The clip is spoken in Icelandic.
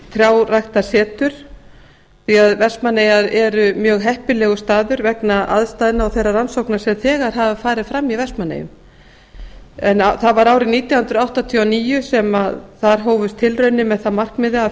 trjáræktarsetur því vestmannaeyjar eru mjög heppilegur staður vegna aðstæðna og þeirra rannsókna sem þegar hafa farið fram í vestmannaeyjum en það var árið nítján hundruð áttatíu og níu sem þar hófust tilraunir með það að markmiði að